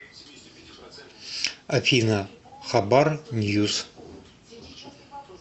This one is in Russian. афина хабар ньюс